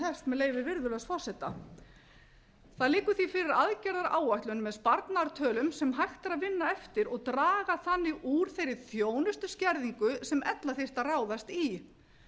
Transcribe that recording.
með leyfi virðulegs forseta það liggur því fyrir aðgerðaáætlun með sparnaðartölum sem hægt er að vinna eftir og draga þannig úr þeirri þjónustuskerðingu sem ella þyrfti að ráðast í